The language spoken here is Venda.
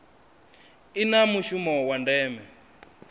i na mushumo wa ndeme